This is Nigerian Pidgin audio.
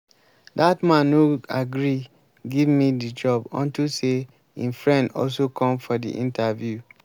dat man no agree give me the job unto say im friend also come for the interview